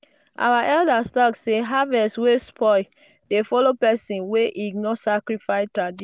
our elders talk say harvest wey spoil dey follow person wey ignore sacrifice tradi